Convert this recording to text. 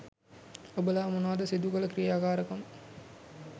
ඔබලා මොනවද සිදුකළ ක්‍රියාකාරකම්.